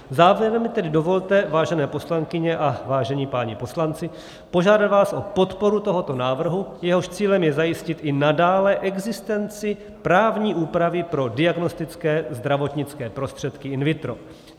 Závěrem mi tedy dovolte, vážené poslankyně a vážení páni poslanci, požádat vás o podporu tohoto návrhu, jehož cílem je zajistit i nadále existenci právní úpravy pro diagnostické zdravotnické prostředky in vitro.